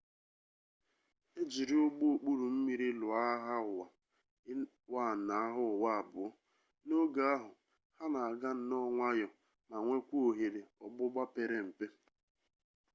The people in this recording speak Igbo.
e jiri ụgbọ okpuru mmiri lụọ agha ụwa i na agha ụwa ii n'oge ahụ ha na-aga nnọọ nwayọ ma nwekwaa ohere ọgbụgba pere mpe